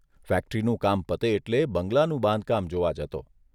ફેક્ટરીનું કામ પતે એટલે બંગલાનું બાંધકામ જોવા જતો.